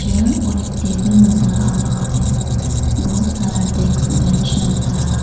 और एक टेबल नजर आ रहा है बहुत सारा डैस्क बेंच नजर आ रहा--